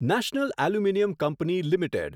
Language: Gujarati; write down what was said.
national aluminium company limited